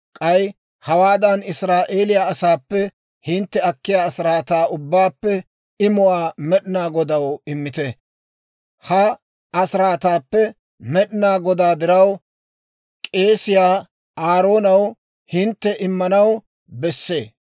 K'ay hawaadan Israa'eeliyaa asaappe hintte akkiyaa asiraataa ubbaappe imuwaa Med'inaa Godaw immite; ha asiraataappe Med'inaa Godaa diraw k'eesiyaa Aaroonaw hintte immanaw besse.